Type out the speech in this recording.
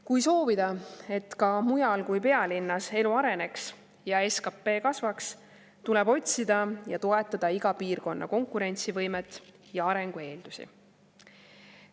Kui soovida, et ka mujal kui pealinnas elu areneks ja SKP kasvaks, tuleb otsida ja toetada iga piirkonna konkurentsivõimet ja arengu eeldusi.